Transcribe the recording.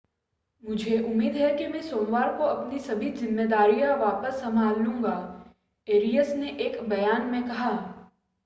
मुझे उम्मीद है कि मैं सोमवार को अपनी सभी ज़िम्मेदारियां वापस संभाल लूंगा एरियस ने एक बयान में कहा